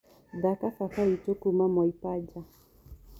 thaka baba witũ kuũma mwaipaja